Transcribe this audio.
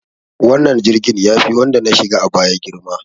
Wannan jirgin yafi wanda na shiga a baya girma.